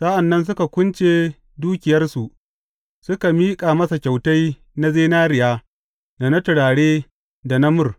Sa’an nan suka kunce dukiyarsu, suka miƙa masa kyautai na zinariya da na turare da na mur.